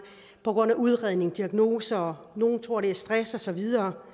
på grund af udredning af diagnose og nogle tror at det er stress og så videre